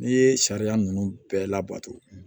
N'i ye sariya ninnu bɛɛ labato